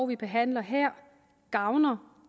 vi behandler her gavner